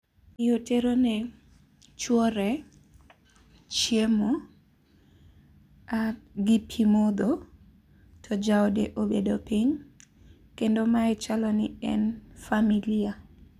Mio terone chuore chiemo gi pimodho to jaode obedo piny, kendo mae chalo ni en familia.